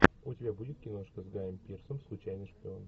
у тебя будет киношка с гаем пирсом случайный шпион